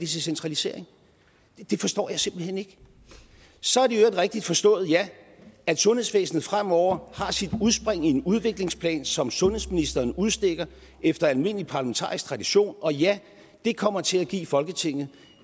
centralisering det forstår jeg simpelt hen ikke så er det rigtigt forstået ja at sundhedsvæsenet fremover har sit udspring i en udviklingsplan som sundhedsministeren udstikker efter almindelig parlamentarisk tradition og ja det kommer til at give folketinget